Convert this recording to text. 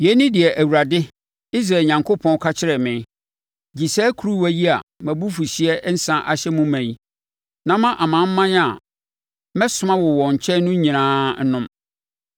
Yei ne deɛ Awurade, Israel Onyankopɔn, ka kyerɛɛ me: “Gye saa kuruwa yi a mʼabufuhyeɛ nsã ahyɛ no ma yi, na ma amanaman a mɛsoma wo wɔn nkyɛn no nyinaa nnom.